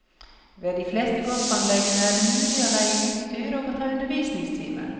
Ved de fleste golfanleggene er det mulig å leie utstyr og å ta undervisningstimer.